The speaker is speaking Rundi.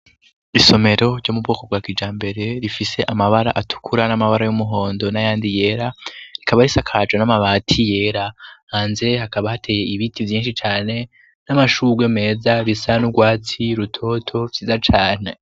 Isomero ryo mubwoko bwa kijambere, rifise amabara atukura n'amabara y'umuhondo n'ayandi yera, rikaba risakajwe n'amabati yera, hanze hakaba hateye ibiti vyinshi cane n'amashurwe meza, bisa n'urwatsi rutoto vyiza cane.